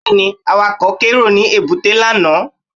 Bẹ́ẹ̀ni, Awakọ̀ kérò ní èbúté lánàá